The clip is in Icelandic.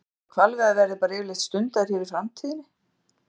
Má búast við að hvalveiðar verði bara yfirleitt stundaðar hér í framtíðinni?